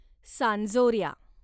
सांजोर्या